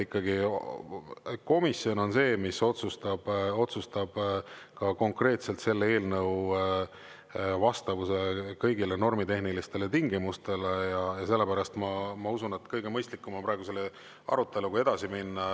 Ikkagi komisjon on see, mis otsustab ka konkreetselt selle eelnõu vastavuse kõigile normitehnilistele tingimustele, ja sellepärast ma usun, et kõige mõistlikum on praegu selle aruteluga edasi minna.